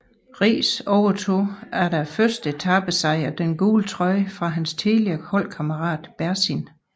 Riis overtog efter etapesejren den gule trøje fra hans tidligere holdkammerat Berzin